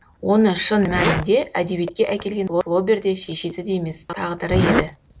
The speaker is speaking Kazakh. оны шын мәнінде әдебиетке әкелген флобер де шешесі де емес тағдыры еді